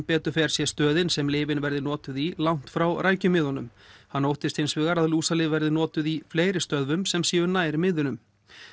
betur fer sé stöðin sem lyfin verði notuð í langt frá rækjumiðunum hann óttist hins vegar að lúsalyf verði notuð í fleiri stöðvum sem séu nær miðunum